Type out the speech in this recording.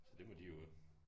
Så det må de jo øh